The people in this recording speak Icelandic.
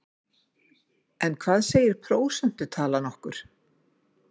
En hvað segir prósentutalan okkur?